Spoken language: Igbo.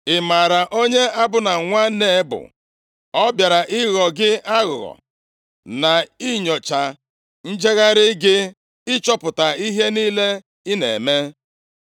Ị maara onye Abna nwa Nea bụ? Ọ bịara ịghọ gị aghụghọ, na inyocha njegharị gị, ịchọpụta ihe niile ị na-eme.”